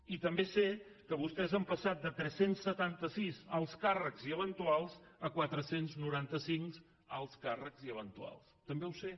i també sé que vostès han passat de tres cents i setanta sis alts càrrecs i eventuals a quatre cents i noranta cinc alts càrrecs i eventuals també ho sé